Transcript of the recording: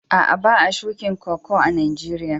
Aa, ba'a shukin Koko a'Nijeriya.